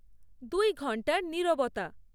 দুই ঘণ্টার নীরবতা